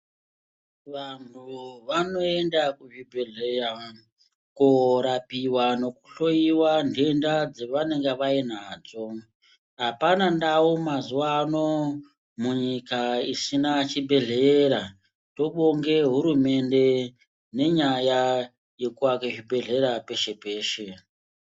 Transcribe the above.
Vanhu vano enda ku zvibhedhleya ko rapiwa neku hloyiwa dhenda dze vanenga vainadzo apana ndau mazuva ano mu nyika isina chibhedhlera tobonge hurumende ne nyaya yeku ake zvi bhedhlera peshe peshe.